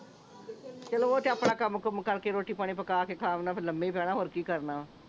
ਚਲੋ ਓਹ ਤੇ ਆਪਣਾ ਕੰਮ ਕੁੱਮ ਕਰਕੇ ਰੋਟੀ ਪਾਣੀ ਪੱਕਾ ਕੇ ਖਾ ਲੈਣ ਫੇਰ ਲੱਮੇ ਹੀ ਪੈਣ ਹੋਰ ਕੀ ਕਰਨਾ ਵਾ